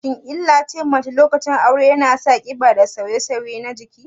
Shin killace mace lokacin aure yana sa ƙiba da sauye-sauye na jiki?